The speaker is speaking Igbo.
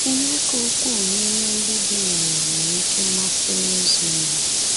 Ihe ka ukwuu n’ime ndị bi n’ụwa nwere oké mmasị n’ịzụ ihe.